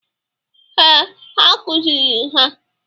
Ee, ha kụzịrị ha.